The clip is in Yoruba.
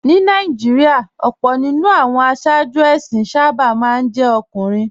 Ní Nàìjíríà, ọ̀pọ̀ jù lọ àwọn aṣáájú ẹ̀sìn sábà máa ń jẹ́ ọkùnrin